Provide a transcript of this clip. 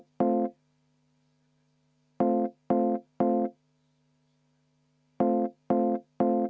Aitäh!